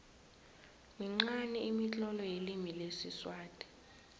minqani imitlolo yelimi lesiswati